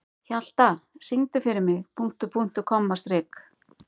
Hjalta, syngdu fyrir mig „Punktur, punktur, komma, strik“.